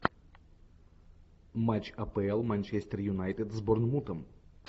матч апл манчестер юнайтед с борнмутом